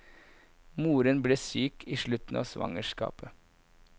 Moren ble syk i slutten av svangerskapet.